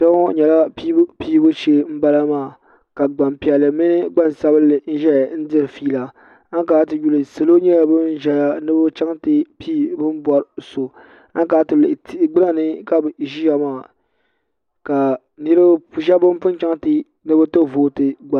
kpɛŋɔ nyɛla pɛibupɛibu shɛɛ n bala ka gbanpiɛli mini gbansabinli ʒɛya diri ƒɛla an kana tiyuli niriba nyɛla ban ʒɛya ni be chɛŋ ti pɛigi bɛni bɔri so an kana tiyuli tɛhi gbanani ka be kana ti ʒɛya maa ka sbɛbi ban pun chɛŋ ni be ti voitɛ